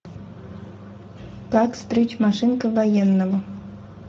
как стричь машинкой военного